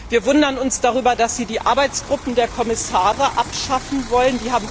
Wir wundern uns darüber, dass Sie die Arbeitsgruppen der Kommissare abschaffen wollen.